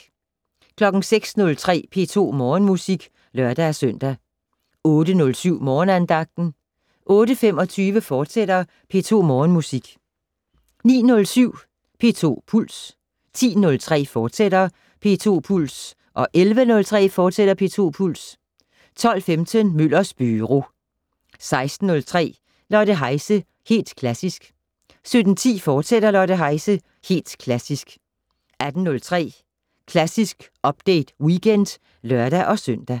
06:03: P2 Morgenmusik (lør-søn) 08:07: Morgenandagten 08:25: P2 Morgenmusik, fortsat 09:07: P2 Puls 10:03: P2 Puls, fortsat 11:03: P2 Puls, fortsat 12:15: Møllers Byro 16:03: Lotte Heise - Helt Klassisk 17:10: Lotte Heise - Helt Klassisk, fortsat 18:03: Klassisk Update Weekend (lør-søn)